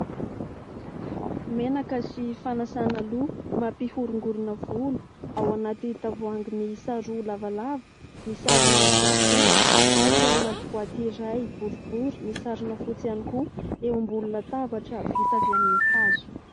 Menaka sy fanasana loha mampihorongorona volo, ao anaty tavoahangy miisa roa lavalava misarona fotsifotsy ary eo anaty boaty iray boribory misarona fotsy ihany koa, eo ambonina latabatra vita avy amin'ny hazo.